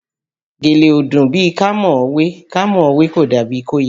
Gèlè ò dùn bíi ká mọ̀ ọ́ wé, ká mọ̀ ọ́ wé kò dàbí i kó yẹni